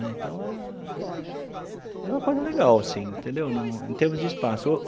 Então era era uma coisa legal assim entendeu no, em termos de espaço.